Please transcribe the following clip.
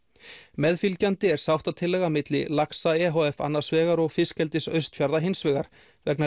meðfylgjandi er sáttatillaga milli laxa e h f annars vegar og fiskeldis Austfjarða hins vegar vegna